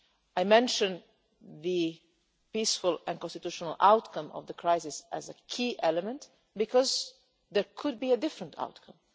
I mention that a peaceful and constitutional outcome of the crisis is a key element because there could be a different outcome.